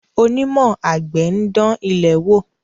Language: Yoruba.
Onímọ̀ àgbẹ̀ ń dán ilẹ̀ wò.